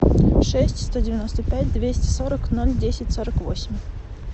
шесть сто девяносто пять двести сорок ноль десять сорок восемь